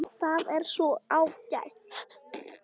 Það er svo ágætt.